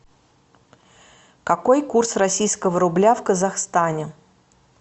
какой курс российского рубля в казахстане